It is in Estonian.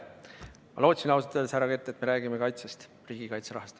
Ausalt öeldes ma lootsin, härra Kert, et me räägime kaitsest, riigikaitserahast.